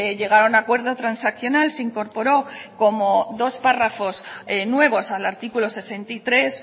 llegar a un acuerdo transaccional se incorporó como dos párrafos nuevos al artículo sesenta y tres